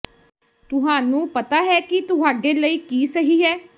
ਤੁਹਾਨੂੰ ਪਤਾ ਹੈ ਕਿ ਤੁਹਾਡੇ ਲਈ ਕੀ ਸਹੀ ਹੈ